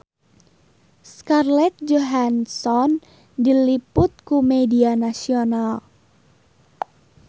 Scarlett Johansson diliput ku media nasional